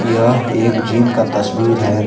यह एक जिम का तस्वीर है।